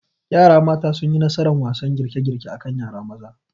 Yara mata sunyi nasaran wasan girkegirke akan yara maza